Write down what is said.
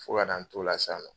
Fo ka n'an t'o la sa